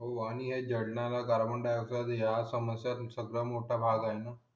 हो आणि या जडणाला कार्बन डाईओक्साइड या समस्यांचा सर्वात मोठा भाग आहे न